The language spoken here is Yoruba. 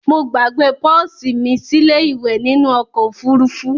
Mo gbàgbe pọ́sì mí sílé ìwẹ̀ nínu okò òfurufú